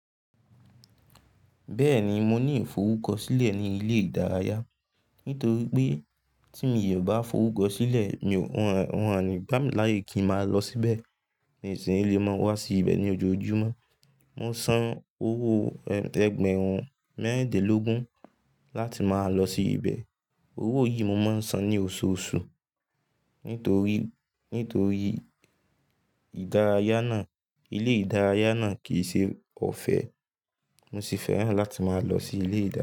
Bẹ́ẹ̀ni mo ní ìfọrukọsílẹ̀ ní ilé ìdárayá. Nítorí pé tí mi ò bá forukósílẹ̀, wọ́n a ní gbá mi láyè kí n máa lọ síbẹ̀. Nìsìní lè máa wá sí ibẹ̀ ní ojoojúmọ́. Mo san owó ẹgbẹ̀rún mẹ́ridínlógún láti máa lọ sí ibẹ̀. Owó yìí mo máa ń san ní oṣooṣù. Nítorí, nítorí ìdárayá náà, ilé ìdárayá náà kì í ṣe ọ̀fẹ́. Mo sì fẹ́ràn láti máa lọ sí ilé ìdárayá.